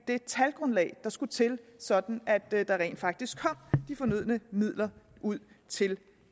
det talgrundlag der skulle til sådan at der rent faktisk kom de fornødne midler ud til